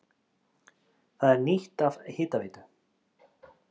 Það er nýtt af Hitaveitu